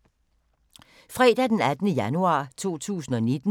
Fredag d. 18. januar 2019